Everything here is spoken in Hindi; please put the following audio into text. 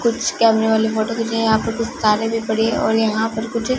कुछ कैमरे वाली फोटो खींचे हैं यहां पर कुछ तारें भी पड़ी हैं और यहां पर कुछ--